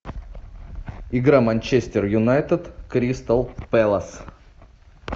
игра манчестер юнайтед кристал пэлас